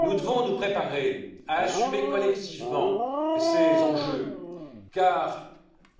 Nous devons nous préparer à assumer collectivement ces enjeux car